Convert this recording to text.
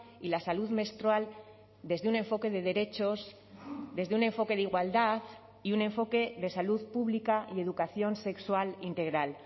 y la salud menstrual desde un enfoque de derechos desde un enfoque de igualdad y un enfoque de salud pública y educación sexual integral